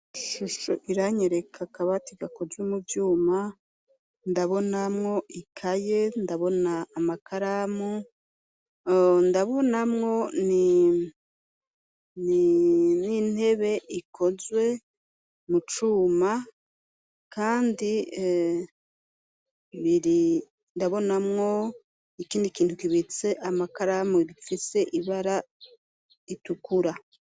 Ishusho iranyereka akabati gakozwe mu vyuma, ndabonamwo ikaye, ndabona amakaramu, ndabonamwo n'intebe ikozwe mu cuma kandi ndabonamwo ikindi kintu kibitse amakaramu gifise ibara ritukura.